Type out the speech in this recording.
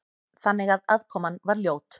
Þannig að aðkoman var ljót.